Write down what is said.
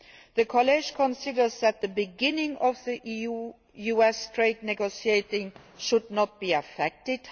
The College considers that the beginning of the EU US trade negotiations should not be affected.